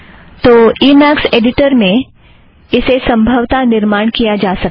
तो Emacs editor में इसे संभवता निर्माण किया जा सकता है